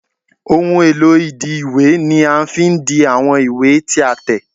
Ohun èlò ìdi ìwé ni a fi n di àwọn ìwé tí a tẹ̀